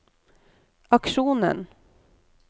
aksjonen